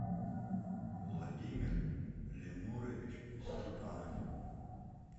владимир ленурович степанов